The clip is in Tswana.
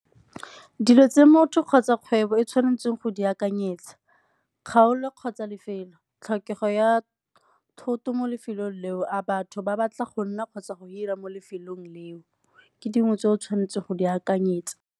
Dilo tse motho kgotsa kgwebo e tshwanetseng go di akanyetsa, kgaolo kgotsa lefelo. Tlhokego ya thoto mo lefelong leo, a batho ba batla go nna kgotsa go hira mo lefelong leo ke dingwe tse o tshwanetseng go di akanyetsa.